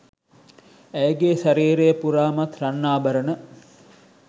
ඇයගේ ශරීරය පුරාමත් රන් ආභරණ